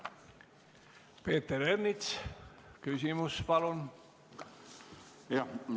Peeter Ernits, küsimus, palun!